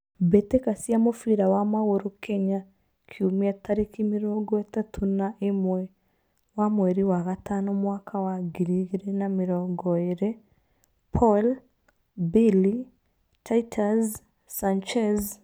Mbitika cia mũbira wa magũrũ Kenya kiumia tariki mĩrongo ĩtatũ na ĩmwe wa mweri wa gatano mwaka wa ngiri igĩrĩ na mĩrongo ĩrĩ: Paul, Billy, Titus, Sanchez,